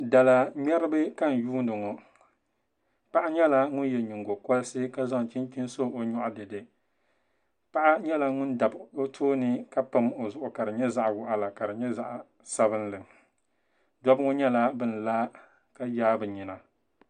Dala ŋmɛribi ka n yuundi ŋo paɣa nyɛla ŋun yɛ nyingo korisi ka zaŋ chinchini so o nyoɣu dɛdɛ paɣa nyula ŋun dabi o tooni ka pam o zuɣu ka di nyɛ zaɣ waɣala ni zaɣ sabinli dabba ŋo nyɛla bin la ka yaa bi nyina